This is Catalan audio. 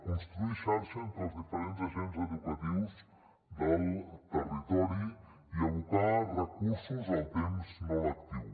construir xarxa entre els diferents agents educatius del territori i abocar recursos al temps no lectiu